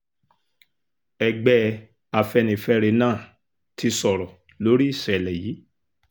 ẹgbẹ́ afẹ́nifẹ́re náà ti sọ̀rọ̀ lórí ìṣẹ̀lẹ̀ yìí